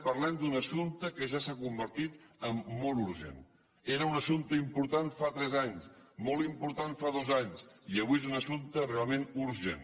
parlem d’un assumpte que ja s’ha convertit en molt urgent era un assumpte important fa tres anys molt important fa dos anys i avui és un assumpte realment urgent